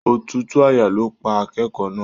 Òtútù àyà ló pa akẹ́kọ̀ọ́ náà.